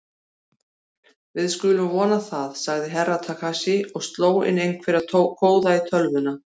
Við skulum vona það, sagði Herra Takashi og sló inn einhverja kóða í tölvuna.